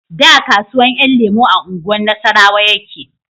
Da kasuwan 'yan lemo a unguwar nasarrawa yake